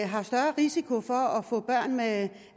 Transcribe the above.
har større risiko for at få børn med